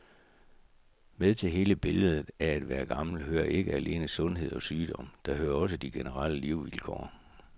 Med til hele billedet af at være gammel hører ikke alene sundhed og sygdom, der hører også de generelle levevilkår.